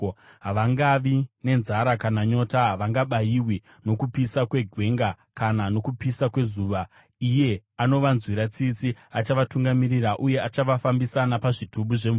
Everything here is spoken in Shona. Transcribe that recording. Havangavi nenzara kana nyota, havangabayiwi nokupisa kwegwenga, kana nokupisa kwezuva. Iye anovanzwira tsitsi achavatungamirira, uye achavafambisa napazvitubu zvemvura.